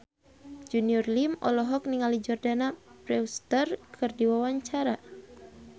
Junior Liem olohok ningali Jordana Brewster keur diwawancara